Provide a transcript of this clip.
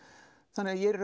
þannig að ég er í